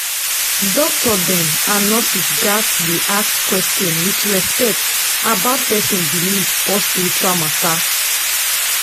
doctor dem and nurse gats dey ask question with respect about person belief or spiritual matter